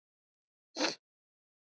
Fleiri en einn í einu?